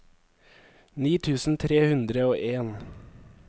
ni tusen tre hundre og en